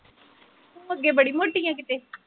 ਤੂੰ ਅੱਗੇ ਬੜੀ ਮੋਟੀ ਐ ਕਿਤੇ